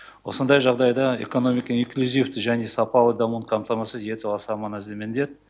осындай жағдайда экономика инклюзивті және сапалы дамуын қамтамасыз ету аса маңызды міндет